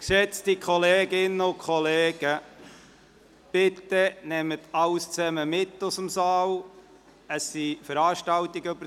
Geschätzte Kolleginnen und Kollegen, bitte nehmen Sie alles mit aus dem Saal, über das Wochenende finden Veranstaltungen statt.